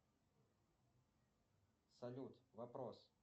салют вопрос